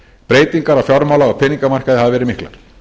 breytingar á fjármála og peningamarkaði hafa verið miklar